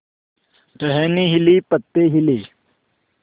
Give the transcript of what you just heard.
टहनी हिली पत्ते हिले